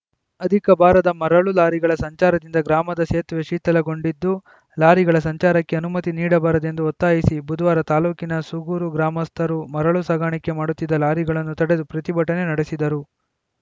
ಅಧಿಕ ಭಾರದ ಮರಳು ಲಾರಿಗಳ ಸಂಚಾರದಿಂದ ಗ್ರಾಮದ ಸೇತುವೆ ಶಿಥಿಲಗೊಂಡಿದ್ದು ಲಾರಿಗಳ ಸಂಚಾರಕ್ಕೆ ಅನುಮತಿ ನೀಡಬಾರದೆಂದು ಒತ್ತಾಯಿಸಿ ಬುಧವಾರ ತಾಲೂಕಿನ ಸೂಗೂರು ಗ್ರಾಮಸ್ಥರು ಮರಳು ಸಾಗಾಣಿಕೆ ಮಾಡುತ್ತಿದ್ದ ಲಾರಿಗಳನ್ನು ತಡೆದು ಪ್ರತಿಭಟನೆ ನಡೆಸಿದರು